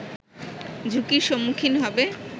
ঝুঁকির সম্মুখীন হবে